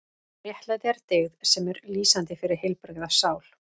Réttlæti er dyggð sem er lýsandi fyrir heilbrigða sál.